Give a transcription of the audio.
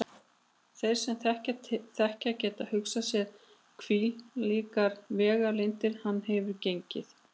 Þeir sem til þekkja geta hugsað sér hvílíkar vegalengdir hann hefur gengið.